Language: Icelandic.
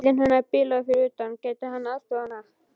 Bíllinn hennar bilaði fyrir utan, gæti hann aðstoðað hana?